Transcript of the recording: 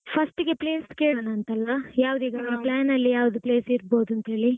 First ಗೆ place ಕೇಳೋನಂತಲ್ಲ. plan ಅಲ್ಲಿ ಯಾವ್ದು place ಇರ್ಬೋದಂತ್‌ ಹೇಳಿ.